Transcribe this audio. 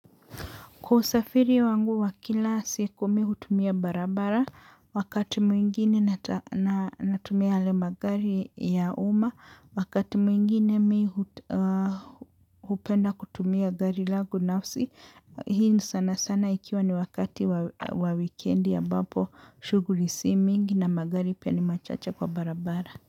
Kwa usafiri wangu wa kila siku mi hutumia barabara, wakati mwingine natumia ale magari ya umma, wakati mwingine mi hupenda kutumia gari langu nafsi, hii sana sana ikiwa ni wakati wa wikendi ambapo shughuli si mingi na magari pia ni machache kwa barabara.